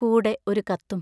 കൂടെ ഒരു കത്തും.